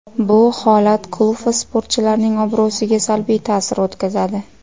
Bu holat klub va sportchilarning obro‘siga salbiy ta’sir o‘tkazadi.